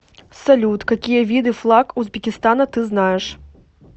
салют какие виды флаг узбекистана ты знаешь